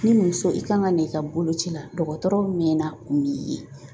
Ni muso i kan ka na i ka boloci la dɔgɔtɔrɔ mɛɛna o m'i ye .